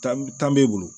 Tan b'e bolo